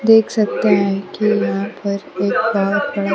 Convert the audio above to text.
देख सकते हैं कि यहां पर एक बहुत बड़ा--